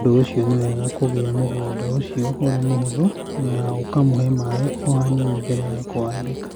Nĩ ũndũ ũcio, nĩ wega kũiga mũgũnda ũcio ũrĩ mũhũthũ na ũkamũhe maĩ o hanini mbere ya kũwambĩka.